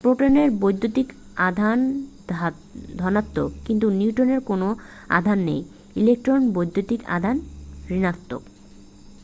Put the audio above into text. প্রোটনের বৈদ্যুতিক আধান ধনাত্মক কিন্তু নিউট্রনের কোন আধান নেই ইলেক্ট্রনের বৈদ্যুতিক আধান ঋণাত্মক